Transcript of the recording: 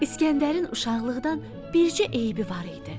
İskəndərin uşaqlıqdan bircə eybi var idi.